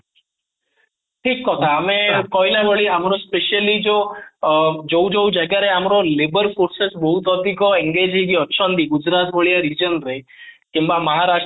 ଠିକ କଥା ଆମେ କହିଲା ଭଳି ଆମର specially ଯୋଉ ଅଂ ଯୋଉ ଯୋଉ ଜାଗା ରେ ଆମର labour forces ବହୁତ ଅଧିକ engage ହେଇକି ଅଛନ୍ତି ଗୁଜୁରାଟ ଭଳିଆ region ରେ କିମ୍ବା